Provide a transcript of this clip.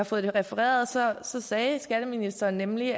fået det refereret sagde skatteministeren nemlig